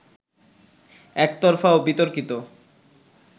একতরফা ও বিতর্কিত